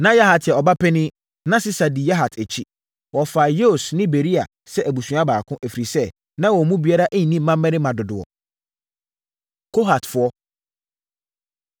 Na Yahat yɛ ɔbapanin, na Sisa di Yahat akyi. Wɔfaa Yeus ne Beria sɛ abusua baako, ɛfiri sɛ, na wɔn mu biara nni mmammarima dodoɔ. Kohatfoɔ